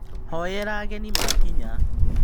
Hoyera ageni makinya.